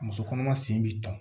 Muso kɔnɔma sen bi tɔn